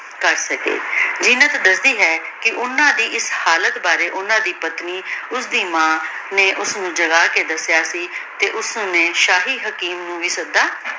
ਕਰ ਸਕੀ ਜੀਨਤ ਦਸਦੀ ਹੈ ਕੀ ਓਹਨਾਂ ਦੀ ਏਸ ਹਾਲਤ ਬਾਰੇ ਓਹਨਾਂ ਦੀ ਪਤਨੀ ਓਸਦੀ ਮਾਂ ਨੇ ਓਸਨੂ ਜਗਾ ਕੇ ਦਸ੍ਯ ਸੀ ਤੇ ਓਸ੍ਨੀ ਸ਼ਾਹੀ ਹਕੀਮ ਨੂ ਵੀ ਸਦਾ